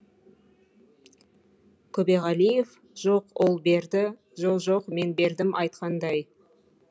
көбеғалиев жоқ ол берді жо жоқ мен бердім айтқандай